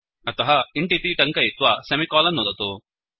अतः इन्ट् इति टङ्कयित्वा सेमिकोलन् नुदतु